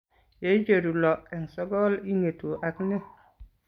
Yeicheru lo eng' sokol ing'etu ak ne ?